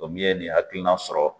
O ye nin hakilina sɔrɔ